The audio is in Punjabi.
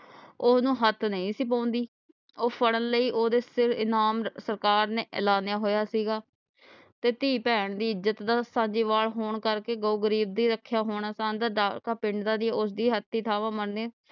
ਓਹਨੂੰ ਹੱਥ ਨਹੀਂ ਸੀ ਪਾਉਂਦੀ ਉਹ ਫੜਨ ਲਈ ਉਹਦੇ ਵਾਸਤੇ ਇਨਾਮ ਸਰਕਾਰ ਨੇ ਐਲਾਨੀਆ ਹੋਇਆ ਸੀਗਾ ਤੇ ਧੀ ਭੈਣ ਦੀ ਇਜ਼ਤ ਦਾ ਸਾਂਜੇਵਾਲ ਹੋਣ ਕਰਕੇ ਗਊ ਗਰੀਬ ਦੀ ਰੱਖਿਆ ਹੋਣਾ ਪਿੰਡ ਆਲੇ ਉਸਦੀ ਹਥੀ ਮਨੇ